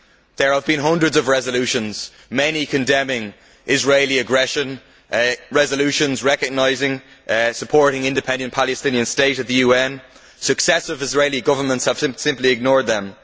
There have been hundreds of resolutions, many condemning Israeli aggression and resolutions recognising and supporting an independent Palestinian State at the UN. Successive Israeli governments have simply ignored them.